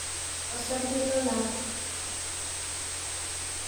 Osarge lolapa .